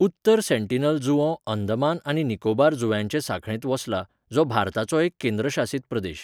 उत्तर सेंटिनल जुंवो अंदमान आनी निकोबार जुंव्यांचे सांखळेंत वसला, जो भारताचो एक केंद्रशासीत प्रदेश.